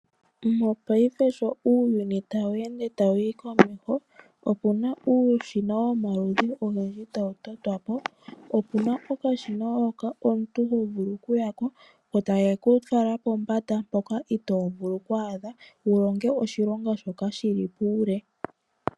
Mopaife sho uuyuni tawu ende tawu yi komeho opuna uushina womaludhi ogendji tawu totwa po, opuna okashina hoka omuntu hovulu okuya ko, ko takekufala pombanda mpoka itovulu oku adha wulonge oshilonga shoka shili puule.